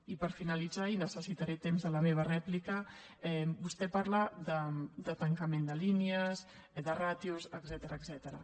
i per finalitzar i necessitaré temps a la meva rèplica vostè parla de tancament de línies de ràtios etcètera